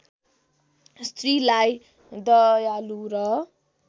स्त्रीलाई दयालु र